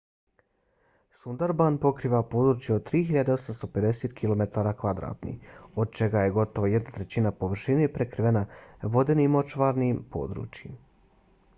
sundarban pokriva područje od 3.850 km² od čega je gotovo jedna trećina površine prekrivena vodenim/močvarnim područjima